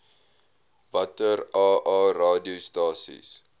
watter aa radiostasies